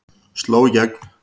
Sló í gegn